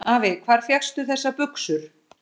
Afi, hvar fékkstu þessar buxur?